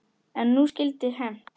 En nú skyldi hefnt.